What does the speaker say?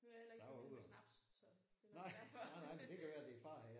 Nu er jeg heller ikke så vild med snaps så det kan være derfor